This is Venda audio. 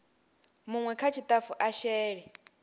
munwe kha tshitafu a shele